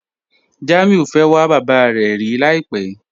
Jamiu fẹ́ wà bàbá rẹ̀ rí làìpẹ̀